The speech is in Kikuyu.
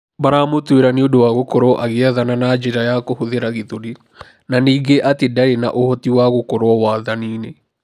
Maramũtuĩra niũndũ wa gũkorũo agĩathana na njĩra ya kũhũthĩra gĩthũri. Na ningĩ atĩ ndarĩ na ũhoti wa gũkorũo wathani-ini.